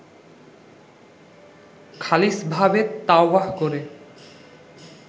খালিছভাবে তাওবাহ করে